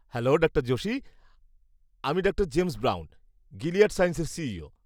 Hello ডাঃ জোশী, আমি ডাঃ জেমস ব্রাউন, গিলিয়াড সায়েন্সের সিইও।